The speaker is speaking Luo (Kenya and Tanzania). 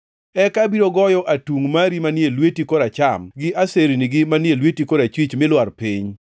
Eka abiro goyo atungʼ mari manie lweti koracham gi asernigi manie lweti korachwich mi lwar piny.